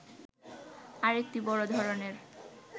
আরেকটি বড় ধরণের